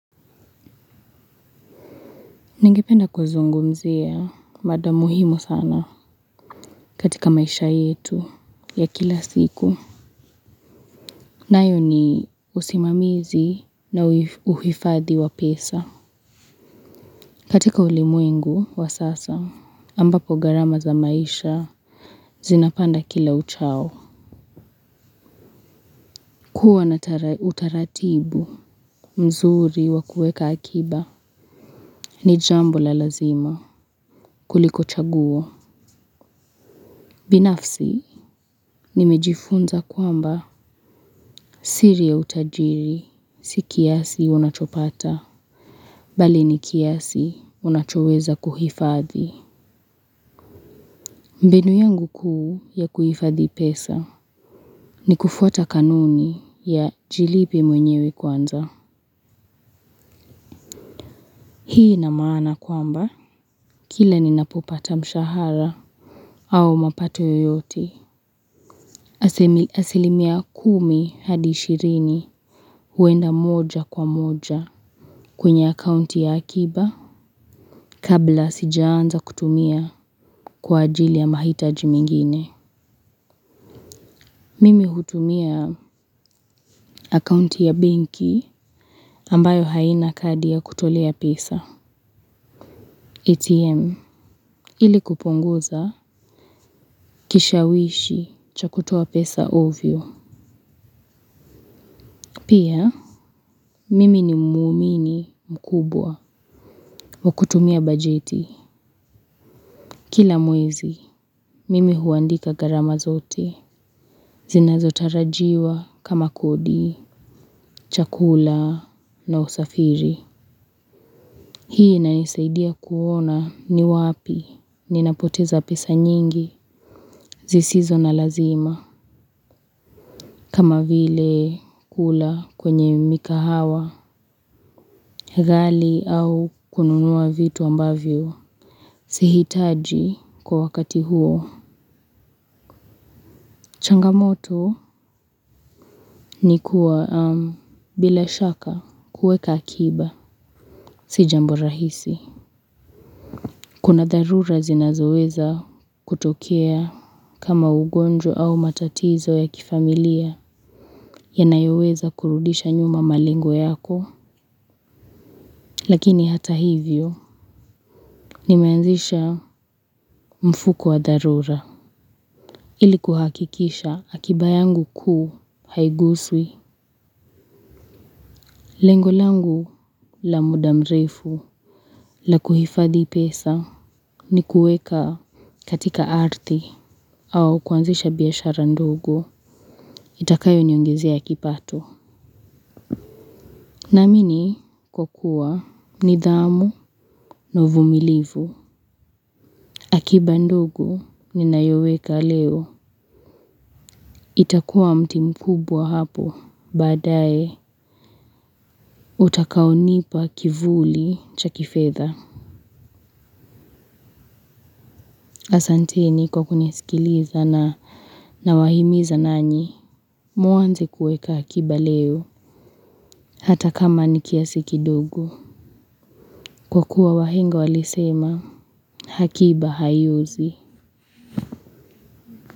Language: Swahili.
Ningependa kuzungumzia, mada muhimu sana katika maisha yetu ya kila siku. Nayo ni usimamizi na uhifadhi wa pesa. Katika ulimwengu wa sasa, ambapo gharama za maisha zinapanda kila uchao. Kuwa na utaratibu mzuri wa kueka akiba ni jambo la lazima kuliko chaguo. Binafsi, nimejifunza kwamba siri ya utajiri, si kiasi unachopata, bali ni kiasi unachoweza kuhifadhi. Mbinu yangu kuu ya kuhifadhi pesa, ni kufuata kanuni ya jilipe mwenyewe kwanza. Hii ina maana kwamba, kila ninapopata mshahara au mapato yoyote. Asilimia kumi hadi ishirini huenda moja kwa moja kwenye akaunti ya akiba kabla sijaanza kutumia kwa ajili ya mahitaji mingine. Mimi hutumia akaunti ya benki ambayo haina kadi ya kutolea pesa. ATM ili kupunguza kishawishi cha kutoa pesa ovyo. Pia, mimi ni muumini mkubwa wa kutumia bajeti. Kila mwezi, mimi huandika gharama zote. Zinazotarajiwa kama kodi, chakula na usafiri. Hii inanisaidia kuona ni wapi ninapoteza pesa nyingi zisizo na lazima. Kama vile kula kwenye mikahawa, ghali au kununua vitu ambavyo. Sihitaji kwa wakati huo. Changamoto ni kuwa bila shaka kueka akiba. Si jambo rahisi. Kuna dharura zinazoweza kutokea kama ugonjwa au matatizo ya kifamilia. Yanayoweza kurudisha nyuma malengo yako. Lakini hata hivyo nimeanzisha mfuko wa dharura. Ili kuhakikisha akiba yangu kuu haiguswi. Lengo langu la muda mrefu la kuhifadhi pesa ni kueka katika ardhi au kuanzisha biashara ndogo itakayoniongezea kipato. Naamini kwa kua nidhamu na uvumilivu. Akiba ndogo ninayoweka leo. Itakua mti mkubwa hapo baadaye utakaonipa kivuli cha kifedha. Asantini kwa kunisikiliza nawahimiza nanyi, muanze kueka akiba leo, hata kama ni kiasi kidogo. Kwa kuwa wahenga walisema, akiba haiozi.